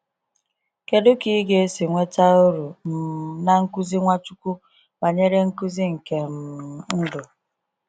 Kedụ ka ịga esi nweta uru um na nkuzi Nwachukwu banyere nkuzi nke um ndụ?